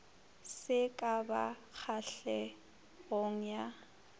se ka ba kgahlegong ya